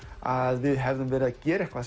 að við hefðum verið að gera